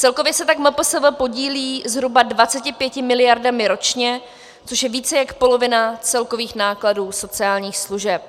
Celkově se tak MPSV podílí zhruba 25 miliardami ročně, což je více jak polovina celkových nákladů sociálních služeb.